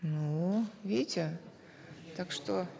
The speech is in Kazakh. ну видите так что